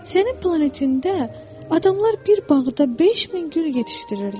Sənin planetində adamlar bir bağda 5000 gül yetişdirirlər.